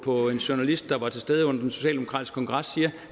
på en journalist der var til stede under den socialdemokratiske kongres siger